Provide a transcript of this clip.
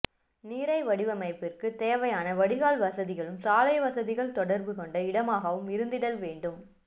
நீரை வடிப்பிற்குத் தேவையான வடிகால் வசதிகளும் சாலை வசதிகள் தொடர்பு கொண்ட இடமாகவும் இருந்திடல் வேண்டும்